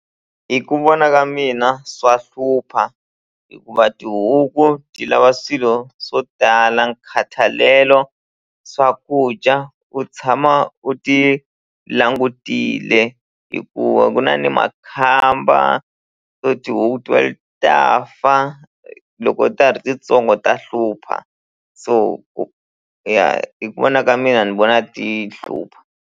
Hi ku vona ka mina swa hlupha hikuva tihuku ti lava swilo swo tala nkhathalelo swakudya u tshama u ti langutile hikuva ku na ni makhamba so tihuku ta fa loko ta ha ri tintsongo ta hlupha so ku ya hi ku vona ka mina ni vona ti hlupha.